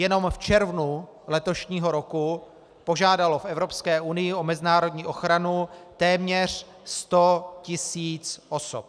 Jenom v červnu letošního roku požádalo v Evropské unii o mezinárodní ochranu téměř 100 tisíc osob.